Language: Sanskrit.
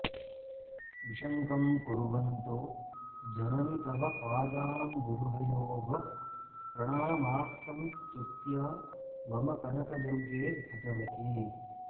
विशङ्कं कुर्वन्तो जननि तव पादाम्बुरुहयोः प्रणामास्संस्तुत्या मम कनकदुर्गे भगवति